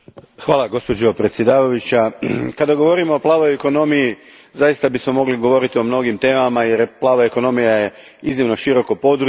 Gospođo predsjednice, kada govorimo o plavoj ekonomiji zaista bismo mogli govoriti o mnogim temama jer je plava ekonomija iznimno široko područje.